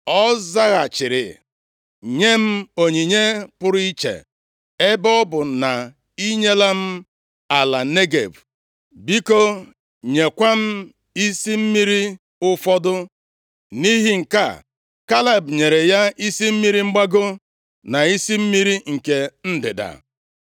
Ọ zaghachiri, “Nyem onyinye pụrụ iche. Ebe ọ bụ na i nyela m ala Negev, biko nyekwa m isi mmiri ụfọdụ.” Nʼihi nke a, Kaleb nyere ya isi mmiri mgbago na isi mmiri nke ndịda.